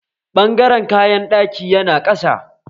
Ɓangaren kayan ɗaki yana ƙasa